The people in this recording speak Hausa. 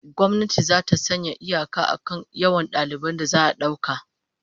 Gwamnati zata sanya iyaka akan yawan daliban da za'a dauka